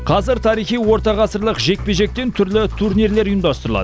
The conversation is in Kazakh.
қазір тарихи орта ғасырлық жекпе жектен түрлі турнирлер ұйымдастырылады